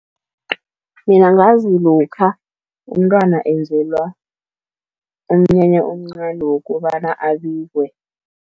Mina ngazi lokha umntwana enzelwa umnyanya omncani wokobana abikwe.